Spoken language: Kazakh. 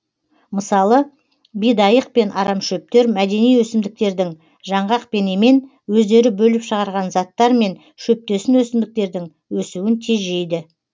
мысалы бидайық пен арамшөптер мәдени өсімдіктердің жаңғақ пен емен өздері бөліп шығарған заттармен шөптесін өсімдіктердің өсуін тежейді